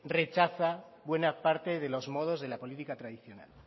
rechaza buena parte de los modos de la política tradicional